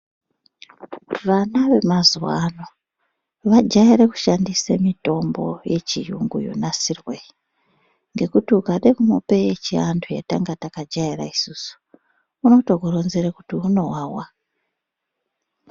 Vana vemazuwa ano vajaire kushandise mitombo yechiyungu yonasirwa iyi ngekuti ukade kumupa yechiantu yetanga takajaire isusu unotokuronzera kuti unowawa.